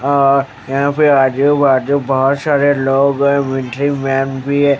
अ यहाँ पे आजू बाजू बहुत सारे लोग हैं मिन्टरी मैन भी है।